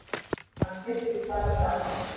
Hann styrkist bara með aldrinum